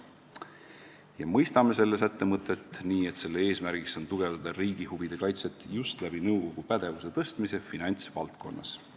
Me mõistame selle sätte mõtet nii, et selle eesmärk on tugevdada riigi huvide kaitset just nõukogu pädevuse tõstmise teel finantsvaldkonnas.